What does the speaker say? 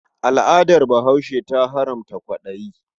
Al'adar Bahaushe ta haramta kwaɗayi.